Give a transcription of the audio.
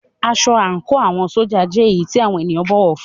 Aṣọ àńkò àwọn ṣójà jẹ́ èyí tí àwọn ènìyàn bọ̀wọ̀ fún ún.